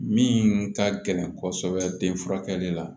Min ka gɛlɛn kɔsɔbɛ den furakɛli la